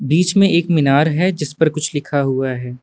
बीच में एक मीनार है जिस पर कुछ लिखा हुआ है।